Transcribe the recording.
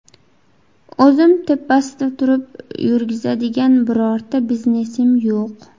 O‘zim tepasida turib yurgizadigan bironta biznesim yo‘q.